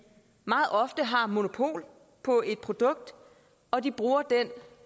meget ofte har monopol på et produkt og de bruger